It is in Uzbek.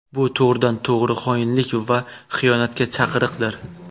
Bu to‘g‘ridan-to‘g‘ri xoinlik va xiyonatga chaqiriqdir.